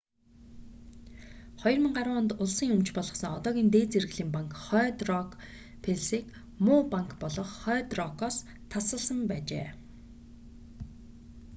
2010 онд улсын өмч болгосон одоогийн дээд зэрэглэлийн банк хойд рок плс-г ‘муу банк’ болох хойд рокоос хөрөнгийн удирдлага тасалсан байжээ